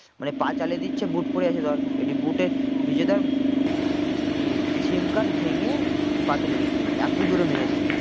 মানে পা চালিয়ে দিচ্ছে boot পরে আছে ধর, একটু boot এ বিজয় দার ই sim card ভেঙে পায়েতে লেগেছে এতো জোরে মেরেছে।